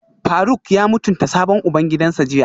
Faruk ya mutunta sabon ubangidansa jiya?